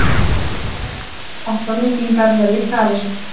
Líklegt að framlengingar verði krafist